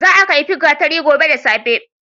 Za a kaifi gatari gobe da safe.